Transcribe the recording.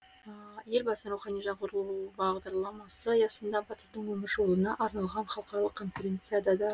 елбасының рухани жаңғыру бағдарламасы аясында батырдың өмір жолына арналған халықаралық конференция да